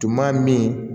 Tuma min